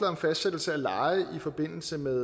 om fastsættelse af leje i forbindelse med